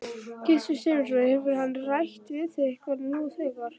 Gissur Sigurðsson: Hefur hann rætt við þig eitthvað nú þegar?